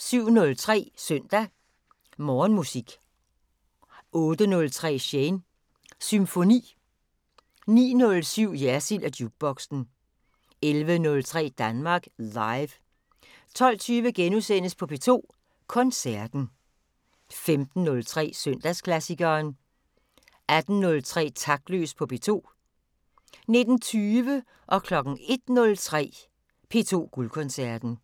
07:03: Søndag Morgenmusik 08:03: Shanes Symfoni 09:07: Jersild & Jukeboxen 11:03: Danmark Live 12:20: P2 Koncerten * 15:03: Søndagsklassikeren 18:03: Taktløs på P2 19:20: P2 Guldkoncerten 01:03: P2 Guldkoncerten